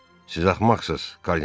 Siz axmaqçınız!